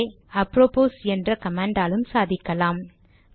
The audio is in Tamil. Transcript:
இதையே அப்ரோபோஸ் என்ற கமாண்டாலும் சாதிக்கலாம்